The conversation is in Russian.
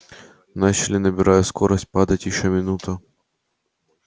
начали набирая скорость падать ещё минуту